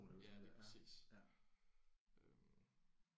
Ja lige præcis øh